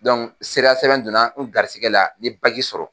sera sɛbɛn donna n garisigɛ la n ɲe sɔrɔ